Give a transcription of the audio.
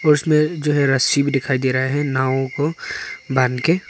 उसमें जो है रस्सी भी दिखाई दे रहा है नाव को बांध के।